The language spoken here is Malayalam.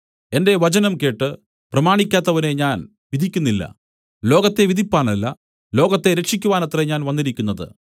എന്റെ വചനം കേട്ട് പ്രമാണിക്കാത്തവനെ ഞാൻ വിധിക്കുന്നില്ല ലോകത്തെ വിധിപ്പാനല്ല ലോകത്തെ രക്ഷിയ്ക്കുവാനത്രേ ഞാൻ വന്നിരിക്കുന്നത്